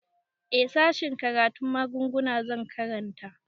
Eh sashen karatun magunguna zan karanta